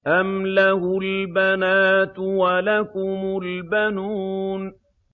أَمْ لَهُ الْبَنَاتُ وَلَكُمُ الْبَنُونَ